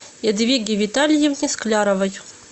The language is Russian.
ядвиге витальевне скляровой